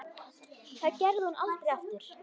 Það gerði hún aldrei aftur.